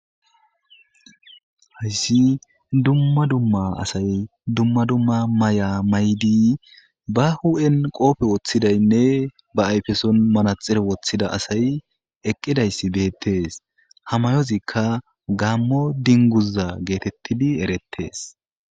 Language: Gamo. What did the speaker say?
Hayisi duma duma asayi duma duma Maya mayiddi behuphen qobe woththidayinne be ayfen manaxxire wothida asayi eqqiday betes ha mayoxika gammo dinguza geteyes